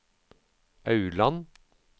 Aurland